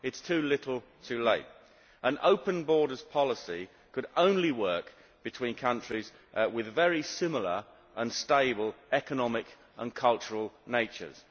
It is too little, too late. An open borders policy could only work between countries with very similar and stable economic and cultural natures.